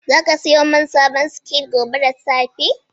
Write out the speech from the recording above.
Za ka sayo man sabon soket gobe da safe?